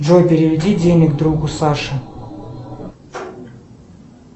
джой переведи денег другу саше